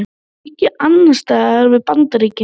Aukin andstaða við Bandaríkin